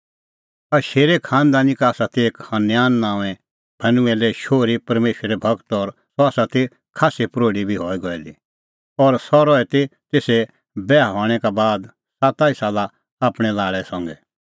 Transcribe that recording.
अशेरे खांनदानी का ती एक हनन्याह नांओंए फनुएले शोहरी परमेशरे गूर और सह ती खास्सी प्रोढी बी गई दी हई और सह रही ती तेसे बैहा हणैं का बाद साता ई साला आपणैं लाल़ै संघै